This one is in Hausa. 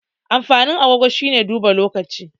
Amfanin agogo shine duba lokacin.